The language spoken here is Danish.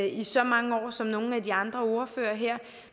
i så mange år som nogle af de andre ordførere her